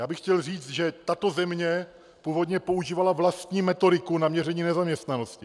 Já bych chtěl říct, že tato země původně používala vlastní metodiku na měření nezaměstnanosti.